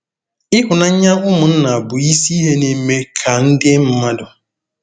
Ịhụnanya ụmụnna bụ isi ihe na-eme ka ndị mmadụ.